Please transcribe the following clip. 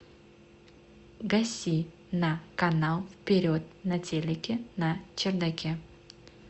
гаси на канал вперед на телике на чердаке